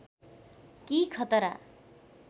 कि खतरा